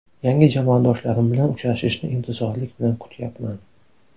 Yangi jamoadoshlarim bilan uchrashishni intizorlik bilan kutyapman.